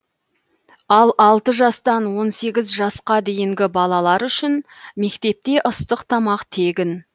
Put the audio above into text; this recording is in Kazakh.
ал алты жастан он сегіз жасқа дейінгі балалар үшін мектепте ыстық тамақ тегін